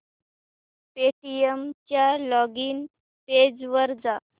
Paytm च्या login page वर जा